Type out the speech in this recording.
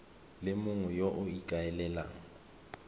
le mongwe yo o ikaelelang